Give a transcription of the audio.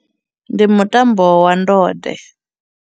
Ndi mutambo wa ndode.